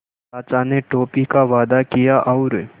चाचा ने टॉफ़ी का वादा किया और